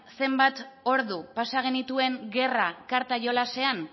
zenbat ordu pasa genituen gerra karta jolasean